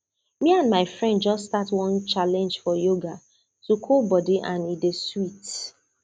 me and my friends just start one challenge for yoga to cool body and e dey sweet